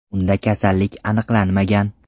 Unda kasallik aniqlanmagan.